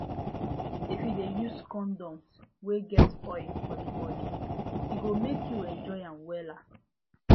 if u de use condoms wey get oil for the body e go make you enjoy am wella